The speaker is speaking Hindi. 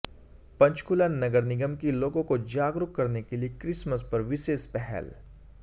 पंचकूला नगर निगम की लोगों को जागरूक करने के लिए क्रिसमस पर विशेष पहल